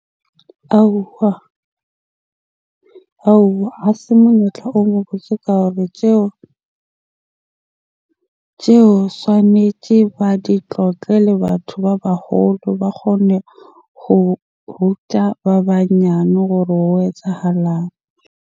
Aowa, aowa! Ha se monyetla o mo botse ka hore tjeo swanetje ba di tlotle le batho ba baholo ba kgone ho ruta ba banyane hore ho etsahalang?